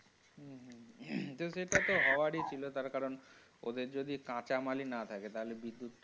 কিন্তু সেটা তো হওয়ার ই ছিল তার কারণ ওদের যদি কাঁচা মাল ই না থাকে তাহলে বিদ্যুৎ।